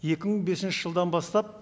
екі мың бесінші жылдан бастап